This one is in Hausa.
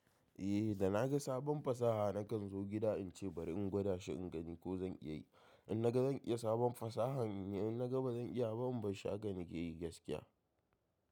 Eh da naga sabon fasaha nakan zo gida in ce bari in gwada shi in gani ko zan iya yi. In naga zan iya sabon fasahan, in naga bazan iya ba in ban shi haka na ke yi gaskiya.